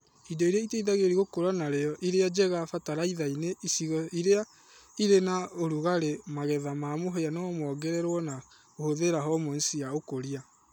Indo iria iteithagĩrĩria gũkũra na rio iria njega fatalaithainĩ icigo iria irĩ na ũrugarĩ magetha ma mũhĩa no mongererwo na kũhũthĩra hormones cia ũkũria